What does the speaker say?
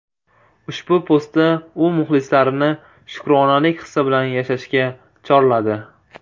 Ushbu postda u muxlislarini shukronalik hissi bilan yashashga chorladi.